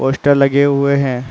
poster लगे हुऐ है |